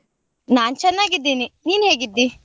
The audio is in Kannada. ನಾನ್ ಚೆನ್ನಾಗಿದ್ದೀನಿ, ನಿನ್ ಹೇಗಿದ್ದೀ?